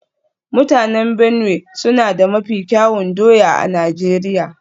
Mutanen Benue suna da mafi kyawun doya a Najeriya